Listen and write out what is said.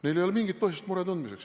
Neil ei ole mingit põhjust muret tunda.